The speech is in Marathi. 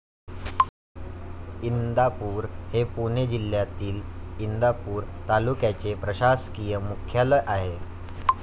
इंदापूर हे पुणे जिल्ह्यातील, इंदापूर तालुक्याचे प्रशासकीय मुख्यालय आहे.